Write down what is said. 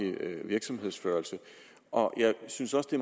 virksomhedsførelse og jeg synes også det